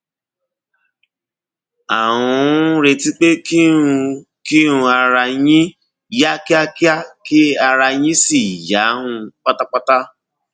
à ń um retí pé kí um kí um ara yín yá kíákíá kí ara yín sì yá um pátápátá